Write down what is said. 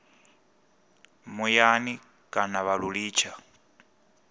muyani kana vha lu litsha